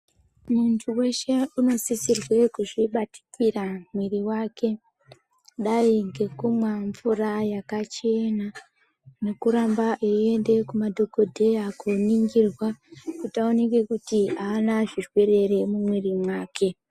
Muntu weshe unosisirwe kuzvibatikira mwiiri wake. Kudai ngekumwa mvura yakachena nekuramba eiende kumadhogodheya kooningirwa kuti aoneke kuti haana zvirwere here mumwiri mwake.